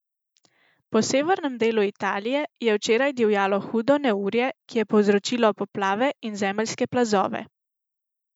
Po severnem delu Italije je včeraj divjalo hudo neurje, ki je povzročilo poplave in zemeljske plazove.